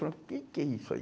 Falamos, o que que é isso aí?